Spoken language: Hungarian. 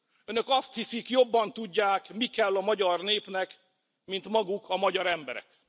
Önök azt hiszik, jobban tudják, mi kell a magyar népnek, mint maguk a magyar emberek.